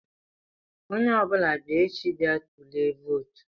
Onye ọ bụla bịa echi bịa tulie vootu!